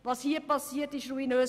Was hier geschieht, ist ruinös.